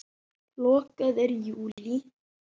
Lokað er í júlí.